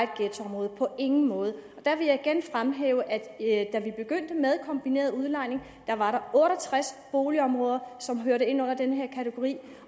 ghettoområder på ingen måde der vil jeg igen fremhæve at da vi begyndte med kombineret udlejning var der otte og tres boligområder som hørte ind under den her kategori